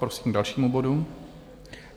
Prosím k dalšímu bodu.